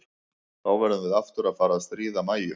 Þá verðum við aftur að fara að stríða Mæju.